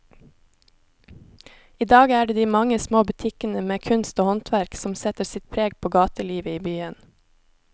I dag er det de mange små butikkene med kunst og håndverk som setter sitt preg på gatelivet i byen.